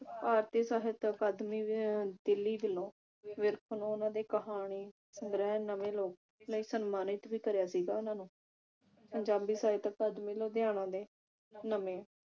ਭਾਰਤੀ ਸਹਿਤ ਅਕਾਦਮੀ ਅਹ ਦਿੱਲੀ ਵਲੋਂ ਵਿਰਕ ਨੂੰ ਉਹਨਾਂ ਦੇ ਕਹਾਣੀ ਸੰਗ੍ਰਹਿ ਨਵੇਂ ਲੋਕ ਲਈ ਸਮਾਨਿਤ ਵੀ ਕਰਿਆ ਸੀਗਾ ਉਹਨਾਂ ਨੂੰ ਪੰਜਾਬੀ ਸਹਿਤ ਅਕਾਦਮੀ ਲੁਧਿਆਣਾ ਦੇ ਨਵੇਂ